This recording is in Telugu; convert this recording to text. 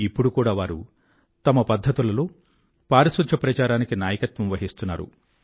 ఇప్పుడు కూడా వారు తమ పధ్ధతులలో పారిశుధ్య ప్రచారానికి నాయకత్వం వహిస్తున్నారు